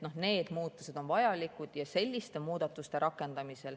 Need muutused on vajalikud.